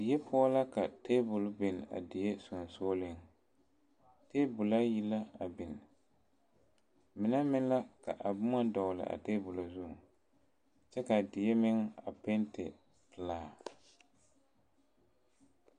Die poɔ la ka tabol biŋ a die sensɔleŋ , tabol ayi la biŋ, mine meŋ la ka boma dɔgeli a tabolɔ zuŋ, kyɛ kaa die meŋ a penti pelaa.